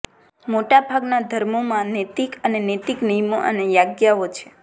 મોટાભાગના ધર્મોમાં નૈતિક અને નૈતિક નિયમો અને આજ્ઞાઓ છે